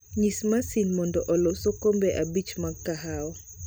Nyis masin mondo olos okombe abich mag kahawa.